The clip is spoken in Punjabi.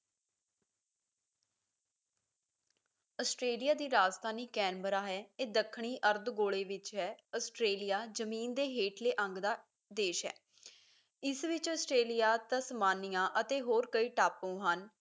ਆਸਟ੍ਰੇਲੀਆ ਦੀ ਰਾਜਧਾਨੀ ਕੈਨਬਰਾ ਹੈ ਇਹ ਦੱਖਣੀ ਅਰਧ ਗੋਲੇ ਵਿੱਚ ਹੈ ਆਸਟ੍ਰੇਲੀਆ ਜ਼ਮੀਨ ਦੇ ਹੇਠਲੇ ਅੰਗ ਦਾ ਦੇਸ਼ ਹੈ ਇਸ ਵਿੱਚ ਆਸਟ੍ਰੇਲੀਆ ਤਸਮਾਨੀਆਂ ਅਤੇ ਹੋਰ ਕਈ ਟਾਪੂ ਹਨ